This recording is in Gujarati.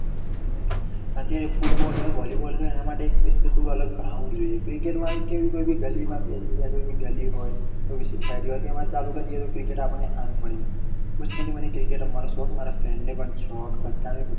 અત્યારે ફૂટબોલ હોય વોલીબોલ હોય એના માટે special થોડું અલગ એક ground હોવું જોઈએ. cricket માં તો કોઈ પણ ગલીમાં પેસી જવાઈ કોઈ ગલી હોય કોઈ એવી સોસાયટી હોય તો એમાં ચાલુ કર દિયે તો cricket આપણને આનંદ મળી જાય. બચપણથી મને cricket રમવાનો શોખ. મારા friend ને પણ શોખ. બધા ને